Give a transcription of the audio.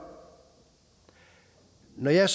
når jeg